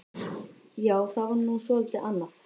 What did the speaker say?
Já, það var nú svolítið annað.